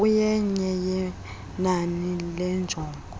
kuyenye yenani leenjongo